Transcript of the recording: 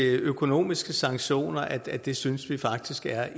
økonomiske sanktioner at det synes vi faktisk er